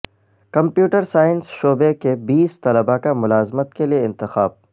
computer science شعبہ کے بیس طلبہ کا ملازمت کے لئے انتخاب